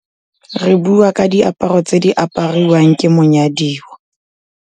Re buwa ka diaparo tse di apariwang ke monyadiwa.